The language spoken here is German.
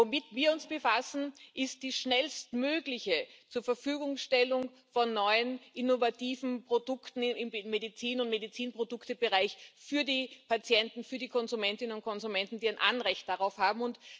Womit wir uns befassen, ist die schnellstmögliche Zurverfügungstellung von neuen, innovativen Produkten im Medizin und Medizinproduktebereich für die Patienten, für die Konsumentinnen und Konsumenten, die ein Anrecht darauf haben.